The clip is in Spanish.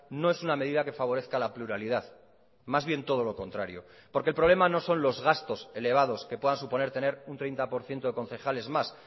no es una medida que favorezca la pluralidad más bien todo lo contrario porque el problema no son los gastos elevados que pueda suponer tener un treinta por ciento de concejales más